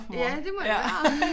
Ja det må det være